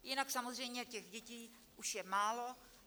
Jinak samozřejmě těch dětí už je málo.